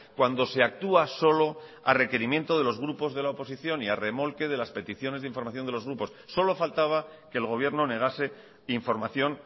cuando se actúa solo a requerimiento de los grupos de la oposición y a remolque de las peticiones de información de los grupos solo faltaba que el gobierno negase información